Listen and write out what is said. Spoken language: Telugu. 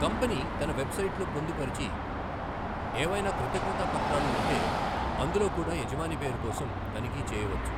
కంపెనీ తన వెబ్సైట్లో పొందుపరచి ఏవైనా కృతజ్ఞతాపత్రాలు ఉంటే అందులో కూడా యజమాని పేరు కోసం తనిఖీ చేయవచ్చు.